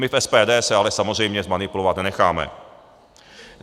My v SPD se ale samozřejmě zmanipulovat nenecháme.